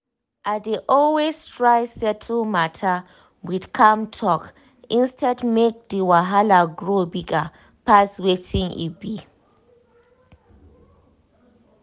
i dey always try settle matter with calm talk instead make the wahala grow bigger pass wetin e be.